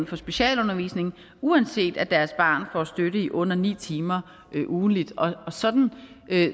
for specialundervisning uanset at deres barn får støtte i under ni timer ugentligt sådan